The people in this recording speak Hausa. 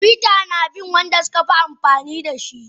Twitter na biyan Wanda sukafi amfani dashi.